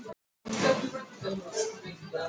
Það er játningin sem þú vilt.